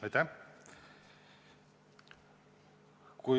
Aitäh!